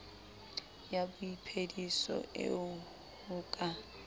ya boiphediso eo ho ka